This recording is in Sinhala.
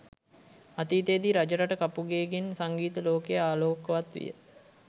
අතීතයේදී රජරට කපුගේ ගෙන් සංගීත ලෝකය ආලෝකවත් විය